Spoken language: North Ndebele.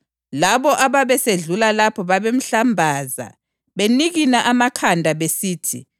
Labo ababesedlula lapho babemhlambaza, benikina amakhanda besithi,